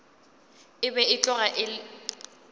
e be e tloga e